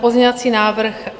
pozměňovací návrh